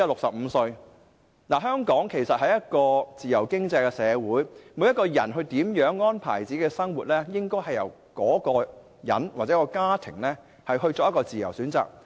其實香港是一個自由經濟社會，每個人如何安排自己的生活，應由各人本身或其家庭作自由選擇。